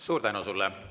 Suur tänu sulle!